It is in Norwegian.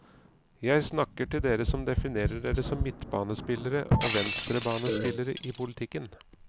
Jeg snakker til dere som definerer dere som midtbanespillere og venstrebanespillere i politikken.